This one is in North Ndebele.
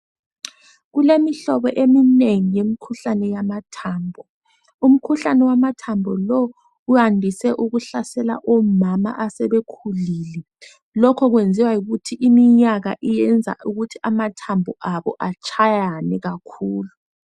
Kulemihlobo eminengi yemikhuhlane yamathambo. Umkhuhlane wamathambo lo uyandise ukuhlasela omama asebekhulile, lokho lwenziwa yikuthi iminyaka yenza ukuthi amathambo abo atshayane kakhulu.